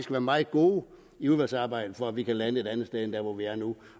være meget gode i udvalgsarbejdet for at vi kan lande et andet sted end dér hvor vi er nu